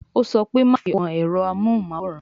Ó sọ pé "Má fi owó kan ẹ̀rọ amóhùn máwòrán